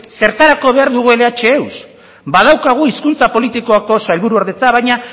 zertarako behar dugu lh eus badaukagu hizkuntza politikako sailbuordetza baina